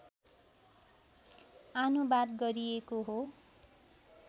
आनुवाद गरिएको हो